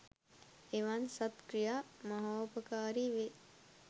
එවන් සද් ක්‍රියා මහෝපකාරී වේ.